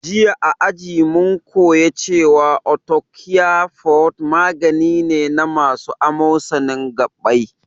Jiya a aji mun koya cewa arthocare forte magani ne na masu amosanin gabbai